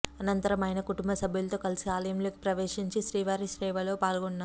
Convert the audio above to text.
అనంతరం ఆయన కుటుంబసభ్యులతో కలిసి ఆలయంలోకి ప్రవేశించి శ్రీవారి సేవలో పాల్గొన్నారు